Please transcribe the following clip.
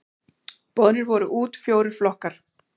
Boðnir voru út fjórir flokkar.